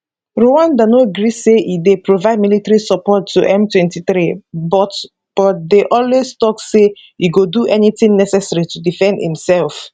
rwanda no gree say e dey provide military support to m23 but but dey always tok say e go do anything necessary to defend imsef